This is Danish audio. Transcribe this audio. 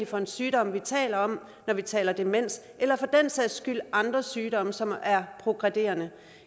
for en sygdom vi taler om når vi taler om demens eller for den sags skyld andre sygdomme som er progredierende